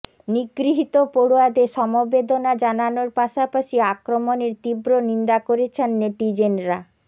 নিগৃহীত পড়ুয়াদের সমবেদনা জানানোর পাশাপাশি আক্রমণের তীব্র নিন্দা করেছেন নেটিজেনরা